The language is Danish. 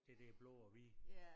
Det der blå og hvide